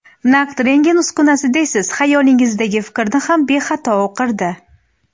Naq rentgen uskunasi deysiz, xayolingizdagi fikrni ham bexato o‘qirdi.